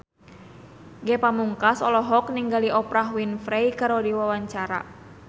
Ge Pamungkas olohok ningali Oprah Winfrey keur diwawancara